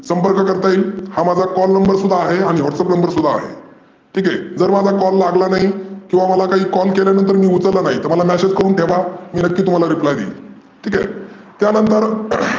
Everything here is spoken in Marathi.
संपर्क करता येईल. हा माझा call number सुध्दा आहे, आणि WhatsApp number सुध्दा आहे. ठिक आहे जर माझा call लागला नाही, किंवा माझा call लागल्या नंतर उचलला नाही. मला message करून ठेवा. मी नक्की तुम्हाला reply देईल. ठिक आहे, त्यानंतर